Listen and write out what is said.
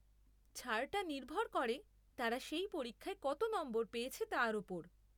ছাড়টা নির্ভর করে তারা সেই পরীক্ষায় কত নম্বর পেয়েছে তার ওপর।